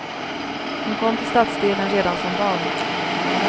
Hon kom till stadsdelen redan som barn.